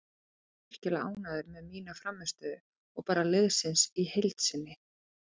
Ég er virkilega ánægður með mína frammistöðu og bara liðsins í heild sinni.